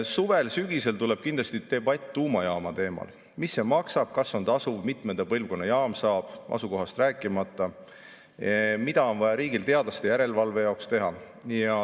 Suvel-sügisel tuleb kindlasti debatt tuumajaama teemal: mis see maksab, kas on tasuv, mitmenda põlvkonna jaam saab, asukohast rääkimata, mida on vaja riigil teadlaste järelevalve jaoks teha.